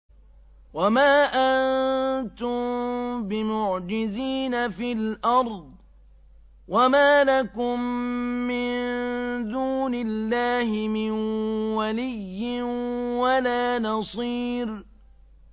وَمَا أَنتُم بِمُعْجِزِينَ فِي الْأَرْضِ ۖ وَمَا لَكُم مِّن دُونِ اللَّهِ مِن وَلِيٍّ وَلَا نَصِيرٍ